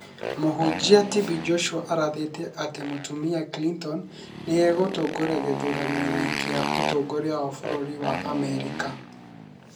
Mũhunjia TB Joshua arathĩte atĩ mũtumia Clinton nĩ egũtoria gĩthurano-inĩ kĩa ũtongoria wa bũrũri wa Amerika